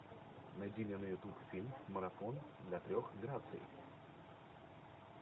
найди мне на ютуб фильм марафон для трех граций